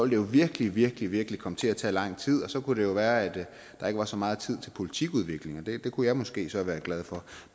det jo virkelig virkelig virkelig komme til at tage lang tid og så kunne det jo være at der ikke var så meget tid til politikudvikling og det kunne jeg måske så være glad for